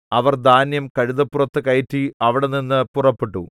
അവർ ധാന്യം കഴുതപ്പുറത്ത് കയറ്റി അവിടെനിന്നു പുറപ്പെട്ടു